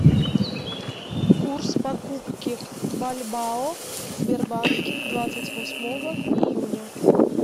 курс покупки бальбао в сбербанке двадцать восьмого июня